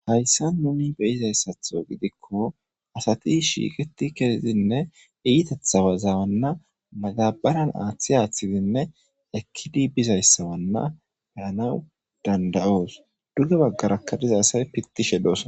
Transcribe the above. Hayssan nuni be'izayisato gidiko asati shiqeti ke'idine itatizabane madabaran athi athidine ekidi bizaysabanne be'anaw danda'os duge baggaraka diza asay pitishe de'osona.